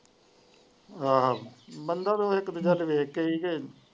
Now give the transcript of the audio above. ਹਾਂ ਬੰਦਾ ਤਾ ਇੱਕ ਦੂਜੇ ਵੱਲ ਵੇਖ ਕੇ ਹੀ।